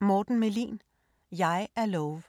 Melin, Mårten: Jeg er Love